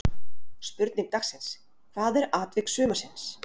Spurning dagsins: Hvað er atvik sumarsins?